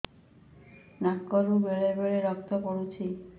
ନାକରୁ ବେଳେ ବେଳେ ରକ୍ତ ପଡୁଛି